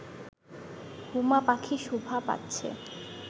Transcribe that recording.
হুমা পাখি শোভা পাচ্ছে